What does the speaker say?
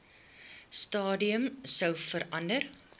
stadium sou verander